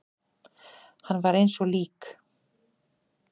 Hann var eins og lík.